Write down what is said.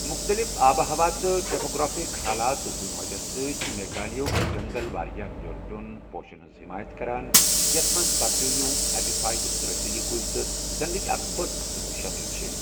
مُختلف آبہٕ ہوا تہٕ ٹپوگرافک حالاتٕک وجہہ سۭتۍ چھِ میگھالیہ ہٕک جنگل واریاہ بیوٚن بیوٚن پوشن ہنٛز حمایت کران یتھ منٛز پرجیویوں، ایپی فائیٹس، رسیلی کُلۍ تہٕ زنٛڑٕچ اکھ بٔڑ قٕسم شٲمِل چھِ۔